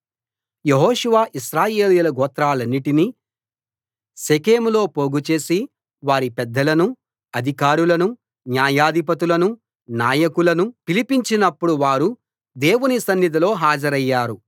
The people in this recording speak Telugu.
యెహోషువ ఇశ్రాయేలీయుల గోత్రాలన్నిటినీ షెకెంలో పోగుచేసి వారి పెద్దలనూ అధికారులనూ న్యాయాధిపతులనూ నాయకులనూ పిలిపించినపుడు వారు దేవుని సన్నిధిలో హాజరయ్యారు